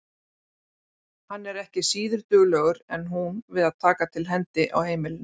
Hann er ekki síður duglegur en hún við að taka til hendi á heimilinu.